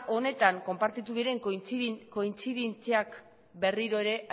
honetan konpartitu diren kointzidentziak berriro ere